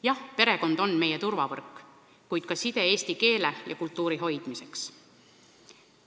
Jah, perekond on meie turvavõrk, kuid ka side eesti keele ja kultuuri hoidmiseks.